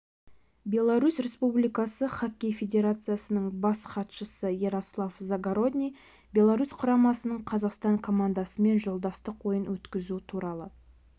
беларусь республикасы хоккей федерациясының бас хатшысы ярослав завгородний беларусь құрамасының қазақстан командасымен жолдастық ойын өткізу туралы